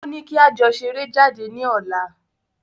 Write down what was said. Ó ní kí a jọ ṣeré jáde ní ọ̀la.